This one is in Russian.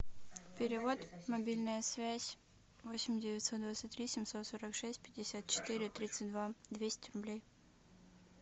перевод мобильная связь восемь девятьсот двадцать три семьсот сорок шесть пятьдесят четыре тридцать два двести рублей